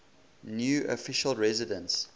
new official residence